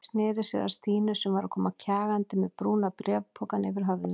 Sneri sér að Stínu sem var að koma kjagandi með brúna bréfpokann yfir höfðinu.